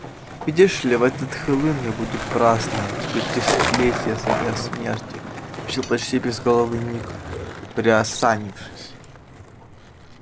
видишь ли в этот хэллоуин я буду праздновать пятисотлетие со дня смерти сообщил почти безголовый ник приосанившись